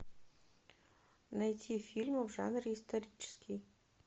найти фильмы в жанре исторический